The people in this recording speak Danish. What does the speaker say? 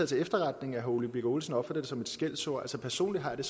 til efterretning at herre ole birk olesen opfatter det som et skældsord personligt har jeg